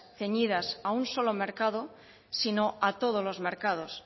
ceñidas a un solo mercado sino a todos los mercados